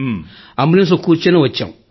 ambulance లో కూర్చుని కూర్చునే వచ్చాం